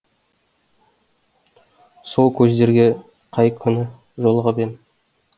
сол көздерге қай күні жолығып ем